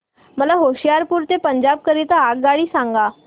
मला होशियारपुर ते पंजाब करीता आगगाडी सांगा